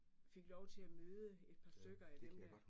Fik lov til at møde et par stykker af dem der